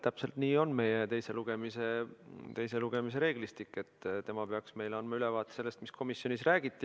Täpselt nii on meie teise lugemise reeglistik, et tema peaks meile andma ülevaate sellest, mis komisjonis räägiti.